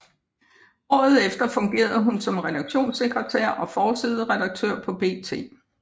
Året efter fungerede hun som redaktionssektretær og forsideredaktør på BT